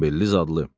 Zəmbilli zadlı.